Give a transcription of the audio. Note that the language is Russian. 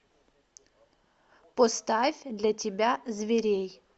поставь для тебя зверей